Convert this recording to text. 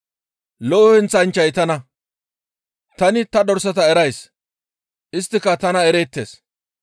«Lo7o heenththanchchay tana; tani ta dorsata erays; isttika tana ereettes.